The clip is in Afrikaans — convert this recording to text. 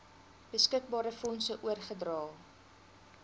beskikbare fondse oorgedra